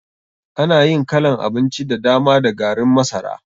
Ana yin kalan abinci da dama da garin masara.